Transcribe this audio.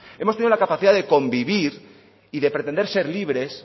hemos tenido la capacidad de convivir y de pretender ser libres